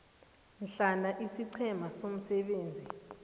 hloma isiqhema somsebenzi